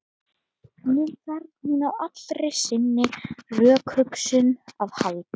Nú þarf hún á allri sinni rökhugsun að halda.